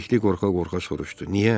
Bəlikli qorxa-qorxa soruşdu.